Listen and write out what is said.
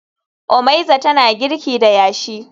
Omeiza tana girki da yashi